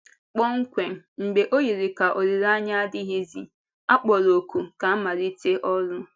Kpọmkwem mgbe ọ yiri ka olileanya adịghịzi, a kpọrọ òkù ka a malite ọrụ!